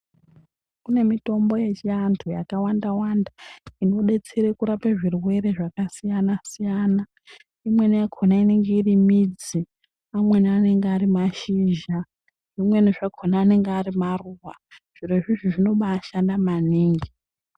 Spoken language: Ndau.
Kune mitombo yechiantu yakawanda wanda inodetsere kurapa zvirwere zvakasiyana siyana imweni yakona inenge iri midzi amweni anenge ari mashizha zvimweni zvakona anenge ari maruwa zviro izvizvi zvinobaashanda maningi.